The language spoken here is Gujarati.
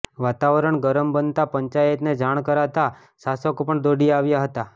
વાતાવરણ ગરમ બનતા પંચાયતને જાણ કરાતા શાસકો પણ દોડી આવ્યા હતા